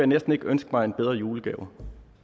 næsten ikke ønske mig en bedre julegave